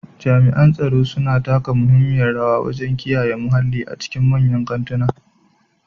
Jami'an tsaro suna taka muhimmiyar rawa wajen kiyaye muhalli a cikin manyan kantuna.